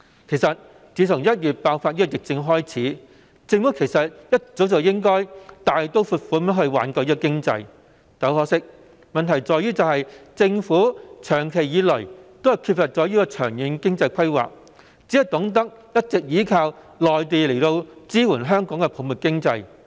其實，政府從1月疫情爆發起，便應該一早大刀闊斧地挽救經濟，但很可惜，問題在於政府長期缺乏長遠經濟規劃，只懂得一直依靠內地支援香港的泡沫經濟。